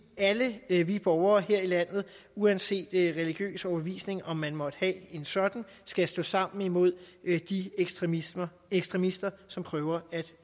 alle vi vi borgere her i landet uanset religiøs overbevisning om man måtte have en sådan skal stå sammen imod de ekstremister ekstremister som prøver at